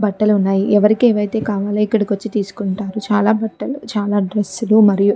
బట్టలు వున్నాయి. ఎవరికీ ఎం కావాలన్న ఇక్కడికి వచ్చి తిసుకుంటారు. ఇక్కడ చాల బట్టలు చాలా డ్రెస్సులు మరియు --